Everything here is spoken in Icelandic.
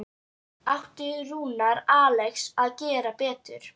Átti Rúnar Alex að gera betur?